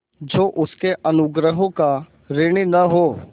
जो उसके अनुग्रहों का ऋणी न हो